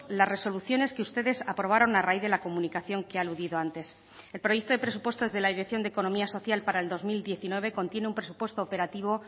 las resoluciones que ustedes aprobaron a raíz de la comunicación que he aludido antes el proyecto de presupuestos de la dirección de economía social para el dos mil diecinueve contiene un presupuesto operativo